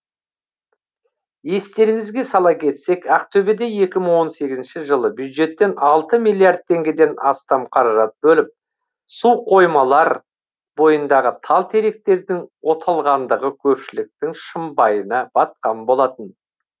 естеріңізге сала кетсек ақтөбеде екі мың он сегізінші жылы бюджеттен алты миллиард теңгеден астам қаражат бөліп су қоймалар бойындағы тал теректердің оталғандығы көпшіліктің шымбайына батқан болатын